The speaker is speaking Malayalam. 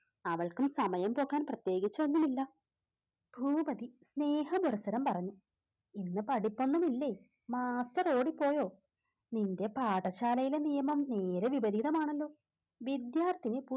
അവൾക്കും സമയം പോക്കാൻ പ്രത്യേകിച്ച് ഒന്നുമില്ല. ഭൂപതി സ്നേഹപുരസ്സരം പറഞ്ഞു. ഇന്ന് പഠിപ്പ് ഒന്നുമില്ലെ master ഓടിപ്പോയോ? നിൻറെ പാഠശാലയിലെ നിയമം നേരെ വിപരീതം ആണല്ലോ വിദ്യാർത്ഥിനി